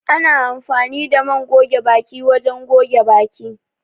Ana amfani da man goge baki wajen goge baki